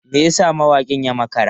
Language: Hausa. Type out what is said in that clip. Me yasa mawakin ya makara?